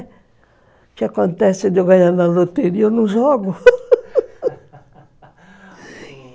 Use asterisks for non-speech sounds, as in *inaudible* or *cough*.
O que acontece de eu ganhar na loteria, eu não jogo *laughs*